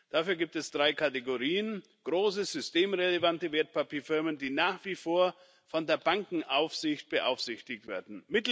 Dafür gibt es drei Kategorien große, systemrelevante Wertpapierfirmen, die nach wie vor von der Bankenaufsicht beaufsichtigt werden